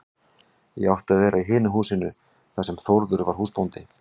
Ég átti að vera í hinu húsinu þar sem Þórður var húsbóndi.